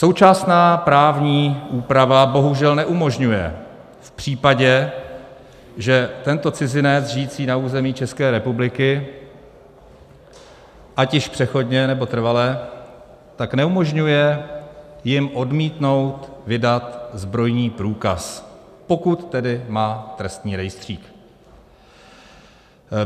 Současná právní úprava bohužel neumožňuje v případě, že tento cizinec žijící na území České republiky, ať již přechodně, nebo trvale, tak neumožňuje jim odmítnout vydat zbrojní průkaz, pokud tedy má trestní rejstřík.